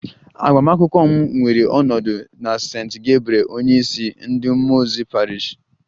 Agbamakwụkwọ m ga-ewere ọnọdụ na St. Gabriel onyeisi ndị mmụọ ozi Parish